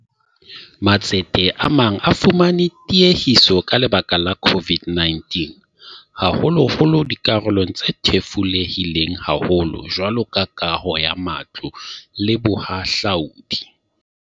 Matsete a mang a fumane tiehiso ka lebaka la COVID-19, haholoholo dikarolong tse thefulehileng haholo jwalo ka kaho ya matlo le bohahlaodi.